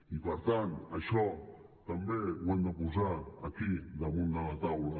i per tant això també ho hem de posar aquí damunt de la taula